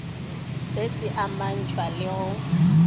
se se amantšhwa le go